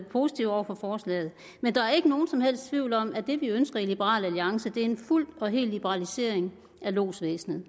positive over for forslaget men der er ikke nogen som helst tvivl om at det vi ønsker i liberal alliance er en fuld og hel liberalisering af lodsvæsenet